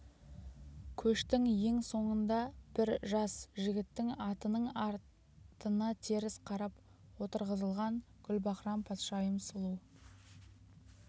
көштің ең соңында бір жас жігіттің атының артына теріс қарап отырғызылған гүлбаһрам-патшайым сұлу